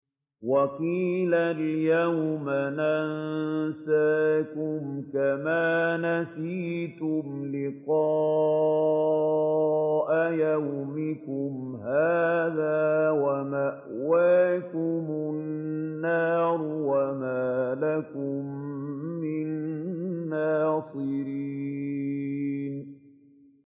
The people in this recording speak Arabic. وَقِيلَ الْيَوْمَ نَنسَاكُمْ كَمَا نَسِيتُمْ لِقَاءَ يَوْمِكُمْ هَٰذَا وَمَأْوَاكُمُ النَّارُ وَمَا لَكُم مِّن نَّاصِرِينَ